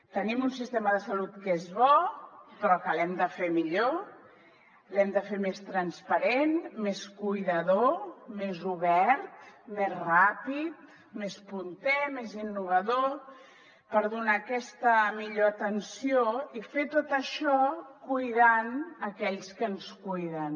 tenim un sistema de salut que és bo però que l’hem de fer millor l’hem de fer més transparent més cuidador més obert més ràpid més punter més innovador per donar aquesta millor atenció i fer tot això cuidant aquells que ens cuiden